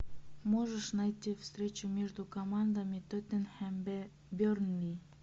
можешь найти встречу между командами тоттенхэм бернли